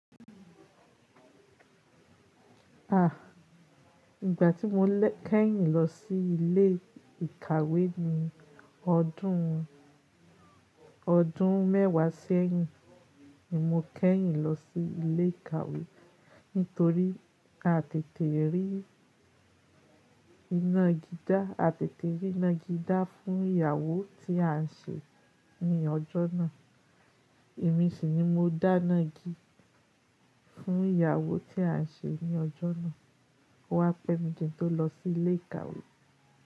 À, ìgbà tí mo kẹ́yìn lọ sí ilé ìkàwé ni ọdún, ọdún mẹ́wàá sẹ́yìn ni mo kẹ́yìn lọ sí ilé ìkàwé nítorí a tètè rí iná igi dá, a tètè rí ina igi dá fún ìyàwó tí à ń ṣe ní ọjọ́ náà. Èmi sì ni mo dá iná igi fún ìyàwó tí à ń ṣe ní ọjọ́ náà. Ó wá pẹ́ mi ki n tó lọ sí ilé ìkàwé.